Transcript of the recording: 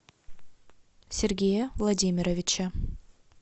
сергея владимировича